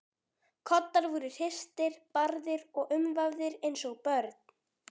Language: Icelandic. Koddar voru hristir, barðir og umvafðir eins og börn.